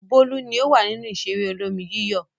Bólú ni ó wà lórí ìṣeré olómi-yíyọ̀.